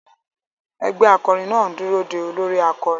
Ẹgbẹ́ akọrin náà ń dúró de olórí akọrin.